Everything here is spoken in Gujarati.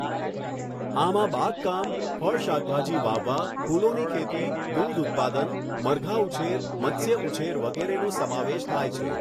આમાં બાગકામ, ફળ શાકભાજી વાવવા, ફુલોની ખેતી, દૂધ ઉત્પાદન, મરઘા ઉછેર, મત્સ્ય ઉછેર વગેરેનો સમાવેશ થાય છે.